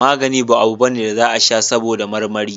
Magani ba abu bane da za a sha saboda marmari